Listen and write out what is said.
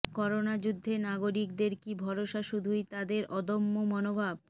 corona যুদ্ধে নাগরিকদের কি ভরসা শুধুই তাদের অদম্য মনোভাব